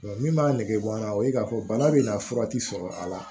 min b'a nege bɔ n na o ye k'a fɔ bana bɛ na fura ti sɔrɔ a la